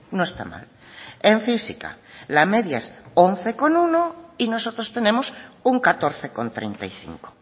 no está mal en física la media es once coma uno y nosotros tenemos un catorce coma treinta y cinco